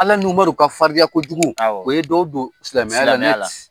Ala n'Umaru ka farinya kojugu, awɔ, o ye dɔ don silamɛya, silamɛya la